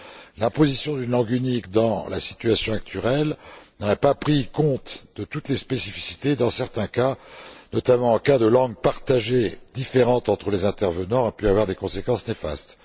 Dans la situation actuelle, la position d'une langue unique n'aurait pas tenu compte de toutes les spécificités et, dans certains cas, notamment en cas de langue partagée, différente entre les intervenants, aurait pu avoir des conséquences néfastes.